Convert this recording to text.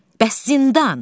Bəs zindan?